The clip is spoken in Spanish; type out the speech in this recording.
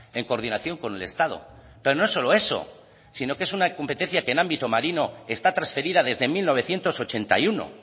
en coordinación con el estado pero no solo eso sino que es una competencia que en ámbito marino está transferida desde mil novecientos ochenta y uno